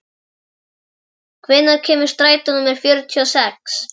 Enja, hvenær kemur strætó númer fjörutíu og sex?